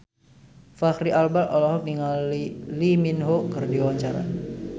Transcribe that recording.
Fachri Albar olohok ningali Lee Min Ho keur diwawancara